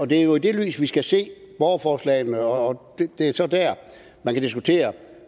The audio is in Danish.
det er jo i det lys vi skal se borgerforslagene og det er så der man kan diskutere